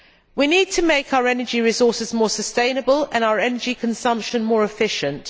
We need to make our energy resources more sustainable and our energy consumption more efficient.